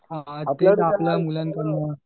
आपल्या मुलांकडं